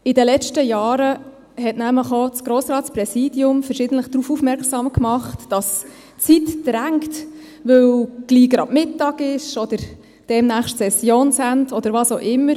– In den letzten Jahren machte nämlich auch das Grossratspräsidium verschiedentlich darauf aufmerksam, dass die Zeit drängt, weil bald schon Mittag sei oder demnächst Sessionsende, oder was auch immer.